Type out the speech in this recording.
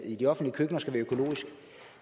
i de offentlige køkkener skal være økologisk